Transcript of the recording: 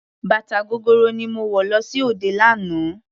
Bàtà gogoro ni mo wọ̀ lọ sí òde lánàá.